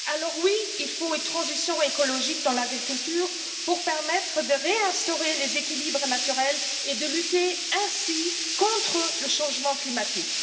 Alors, oui, il faut une transition écologique dans l'agriculture pour permettre de réinstaurer les équilibres naturels et de lutter ainsi contre le changement climatique.